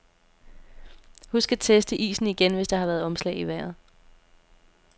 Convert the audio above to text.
Husk at teste isen igen, hvis der har været omslag i vejret.